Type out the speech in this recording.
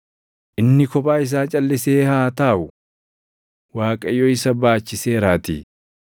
Inni kophaa isaa calʼisee haa taaʼu; Waaqayyo isa baachiseeraatii.